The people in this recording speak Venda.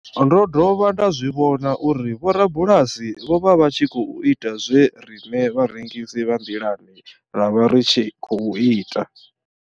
Ndo dovha nda zwi vhona uri vhorabulasi vho vha vha tshi khou ita zwe riṋe vharengisi vha nḓilani ra vha ri tshi khou ita.